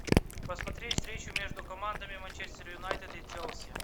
посмотреть встречу между командами манчестер юнайтед и челси